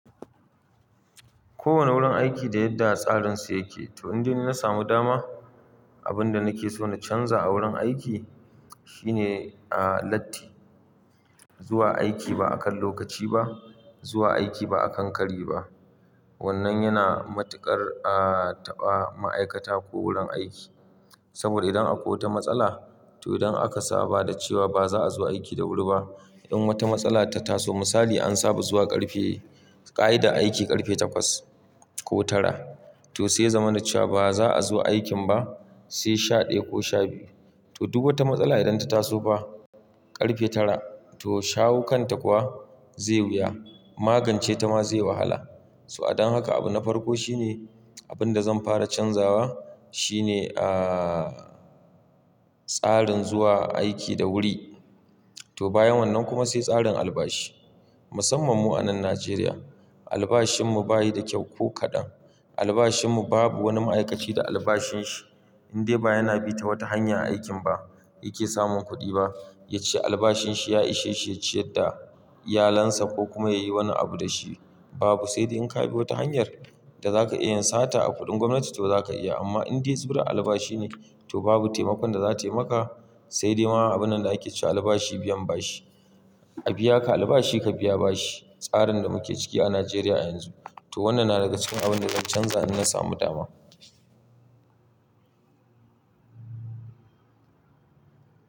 Kowane wurin aiki da yadda tsarinsu yake. To indai na samu dama, abin da nake so na canza a wurin aiki shine, ah, latti. Zuwa aiki ba akan lokaci ba, zuwa aiki ba akan kari ba. Wannan yana matuƙar a taɓa ma'aikata ko wurin aiki. Saboda idan akwai wata matsala, to idan aka saba da cewa ba za a zo aiki da wuri ba, in wata matsala ta taso misali an saba zuwa ƙarfe, ƙa'ida aiki ƙarfe takwas ko tara, to sai ya zamana cewa ba za'azo aikin ba sai sha ɗaya ko sha biyu. To duk wata matsala idan ta taso fa ƙarfe tara, to shawo kan ta kuwa zai wuya. Magance ta ma zai wahala. So adon haka abu na farko shine abin da zan fara canzawa shine, ah, tsarin zuwa aiki da wuri. To bayan wannan kuma sai tsarin albashi. Musamman mu a nan Najeriya, albashinmu bayi da kyau ko kaɗan. Albashinmu babu wani ma'aikaci da albashin shi indai ba yana bi ta wata hanya a aikin ba yake samun kuɗi ba. Ya ci albashin shi ya ishe shi ya ciyar da iyalansa ko kuma ya yi wani abu da shi babu. Sai dai in ka bi wata hanyar da za ka iya yin sata a kuɗin gwamnati to za ka iya. Amma indai zubura albashi ne to babu taimakon da za tai maka. Sai dai ma abun nan da ake cewa albashi biyan bashi. A biya ka albashi ka biya bashi. Tsarin da muke ciki a Najeriya yanzu. To wannan na daga cikin abin da zan canza in na samu dama.